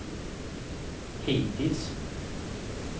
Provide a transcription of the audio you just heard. hittills